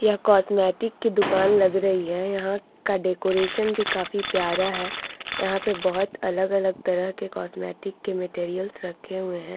यह कॉस्मेटिक की दुकान लग रही है यहां का डेकोरेशन भी काफी प्यारा है यहां पे बहुत अलग-अलग तरह के कॉस्मेटिक के मेटेरियल रखे हुए है।